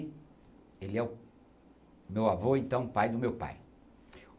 E ele é o meu avô, então, pai do meu pai.